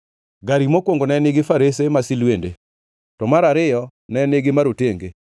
Gari mokwongo ne nigi farese masilwende, to mar ariyo ne nigi marotenge;